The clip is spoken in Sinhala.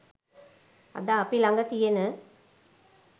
අද අපි ළඟ තියෙන